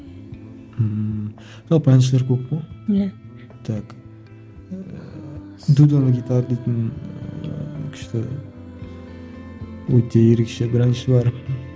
ммм жалпы әншілер көп қой иә так ыыы дейтін күшті өте ерекше бір әнші бар